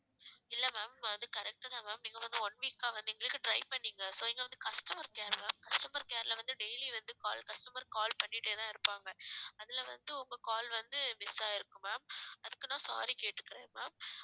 இல்ல ma'am அது correct தான் ma'am நீங்க வந்து one week அ வந்து எங்களுக்கு try பண்ணீங்க so இங்க வந்து customer care ma'am customer care ல வந்து daily வந்து call customer call பண்ணிட்டேதான் இருப்பாங்க அதுல வந்து உங்க call வந்து miss ஆயிருக்கும் ma'am அதுக்குத்தான் sorry கேட்டுக்கறேன் ma'am